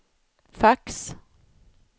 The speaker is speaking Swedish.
fax